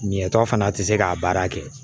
Ɲɛ tɔ fana tɛ se k'a baara kɛ